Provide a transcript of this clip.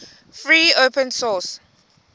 free open source